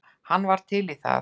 Hann var til í það.